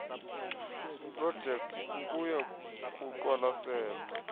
projekthi okuya kuqwalaselwa